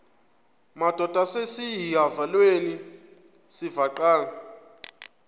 madod asesihialweni sivaqal